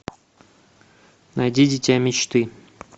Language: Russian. найди дитя мечты